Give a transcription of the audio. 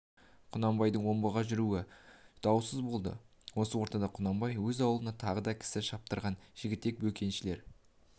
құнанбайдың омбыға жүруі даусыз болды осы ортада құнанбай өз аулына тағы да кісі шаптырған жігітек бөкеншілер